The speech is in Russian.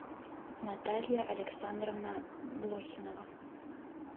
наталья александровна блохинова